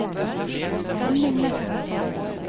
Henning Nesset